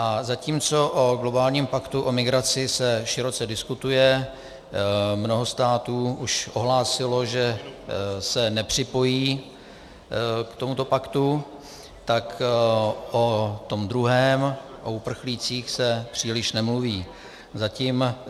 A zatímco o globálním paktu o migraci se široce diskutuje, mnoho států už ohlásilo, že se nepřipojí k tomuto paktu, tak o tom druhém, o uprchlících, se příliš nemluví.